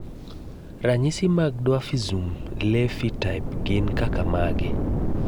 Ranyisi mag Dwarfism Levi type gin kaka mage?